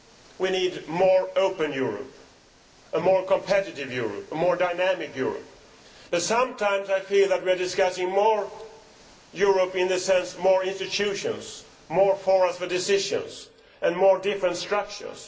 We need a more open Europe, a more competitive Europe and a more dynamic Europe, but sometimes I feel that we discuss more Europe' in the sense of more institutions, more forums for decision making and more and different structures.